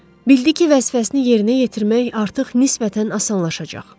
Bildi ki, vəzifəsini yerinə yetirmək artıq nisbətən asanlaşacaq.